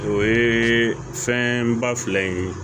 O ye fɛn ba fila in ye